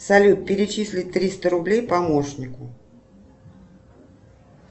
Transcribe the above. салют перечислить триста рублей помощнику